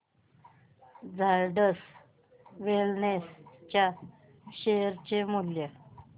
Zydus Wellness च्या share चे मूल्य